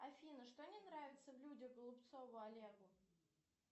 афина что не нравится в людях голубцову олегу